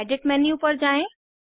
edit menu पर जाएँ